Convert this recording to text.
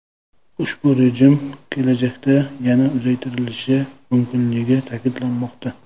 Ushbu rejim kelajakda yana uzaytirilishi mumkinligi ta’kidlanmoqda.